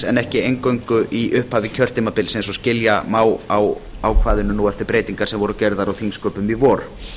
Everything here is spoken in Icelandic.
en ekki eingöngu í upphafi kjörtímabils eins og skilja má á ákvæðinu nú eftir breytingar sem gerðar voru á þingsköpum í vor